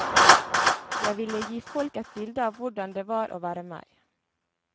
Jeg ville gi folk et bilde av hvordan det var å være meg.